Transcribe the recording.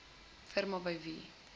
firmas by wie